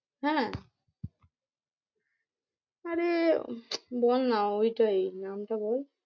হ্যাঁ আরে বল না ওইটাই নামটা বল?